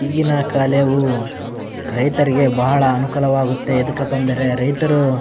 ಈಗಿನ ಕಳೆವು ರೈತರಿಗೆ ಬಹಳ ಅನುಕುಲವಾಗುತ್ತೆ ಏದಕಪ್ಪ ಅಂದ್ರೆ ರೈತರು --